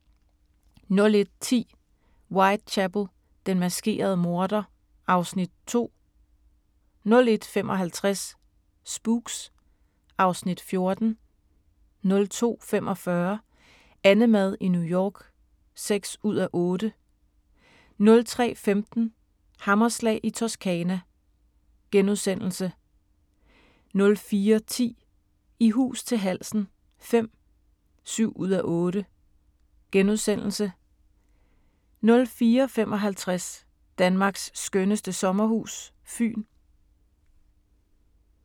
01:10: Whitechapel: Den maskerede morder (Afs. 2) 01:55: Spooks (Afs. 14) 02:45: AnneMad i New York (6:8) 03:15: Hammerslag i Toscana * 04:10: I hus til halsen V (7:8)* 04:55: Danmarks skønneste sommerhus – Fyn